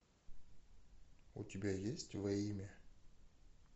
у тебя есть во имя